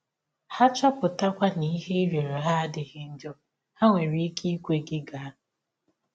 Ha chọpụtakwa na ihe ị rịọrọ ha adịghị njọ, ha nwere ike ikwe gị gaa.